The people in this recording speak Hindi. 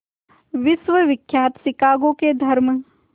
विश्वविख्यात शिकागो के धर्म